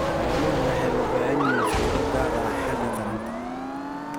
Xooluhu waxay u baahan yihiin fiiro gaar ah xagga taranta.